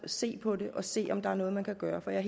se på det og se på om der er noget man kan gøre for jeg